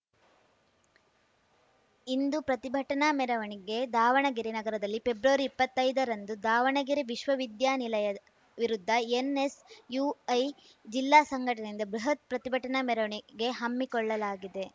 ಇಂದು ಪ್ರತಿಭಟನಾ ಮೆರವಣಿಗೆ ದಾವಣಗೆರೆ ನಗರದಲ್ಲಿ ಪೆಬ್ರವರಿಇಪ್ಪತ್ತೈದರಂದು ದಾವಣಗೆರೆ ವಿಶ್ವ ವಿದ್ಯಾನಿಲಯ ವಿರುದ್ಧ ಎನ್‌ಎಸ್‌ಯುಐ ಜಿಲ್ಲಾ ಸಂಘಟನೆಯಿಂದ ಬೃಹತ್‌ ಪ್ರತಿಭಟನಾ ಮೆರವಣಿಗೆ ಹಮ್ಮಿಕೊಳ್ಳಲಾಗಿದೆ